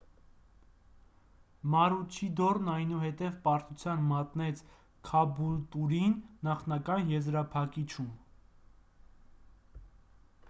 մարուչիդորն այնուհետև պարտության մատնեց քաբուլտուրին նախնական եզրափակիչում